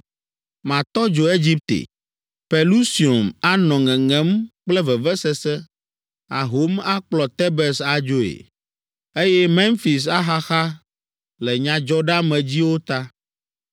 Matɔ dzo Egipte; Pelusium anɔ ŋeŋem kple vevesese, ahom akplɔ Tebes adzoe, eye Memfis axaxa le nyadzɔɖeamedziwo ta.